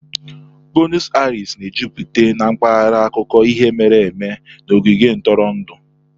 Bueno Airis na-ejupụta na mpaghara akụkọ ihe mere eme na ogige ntụrụndụ.